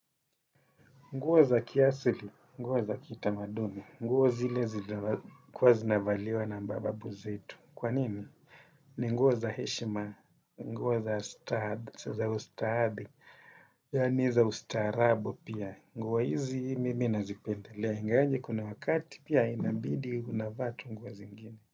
Nguo za kiasili, nguo za kitamadumi, nguo zile zile kuwa zinavaliwa na mababu zetu. Kwa nini? Ni nguo za heshima, nguo za ustadi, yaani za ustaarabu pia. Nguo hizi mimi nazipendelea. Ingawaje kuna wakati pia inabidi unavaa tu nguo zingine.